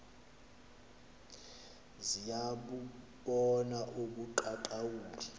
ziya bubona ubuqaqawuli